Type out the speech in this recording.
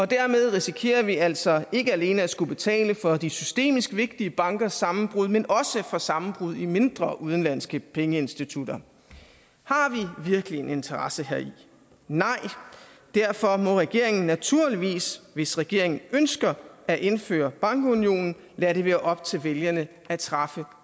dermed risikerer vi altså ikke alene at skulle betale for de systemisk vigtige bankers sammenbrud men også for sammenbrud i mindre udenlandske pengeinstitutter har vi virkelig en interesse heri nej derfor må regeringen naturligvis hvis regeringen ønsker at indføre bankunionen lade det være op til vælgerne at træffe